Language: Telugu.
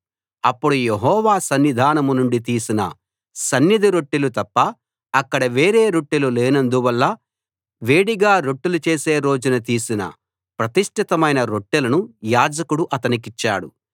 అప్పుడు యెహోవా సన్నిధానం నుండి తీసిన సన్నిధి రొట్టెలు తప్ప అక్కడ వేరే రొట్టెలు లేనందువల్ల వేడిగా రొట్టెలు చేసే రోజున తీసిన ప్రతిష్ఠితమైన రొట్టెలను యాజకుడు అతనికిచ్చాడు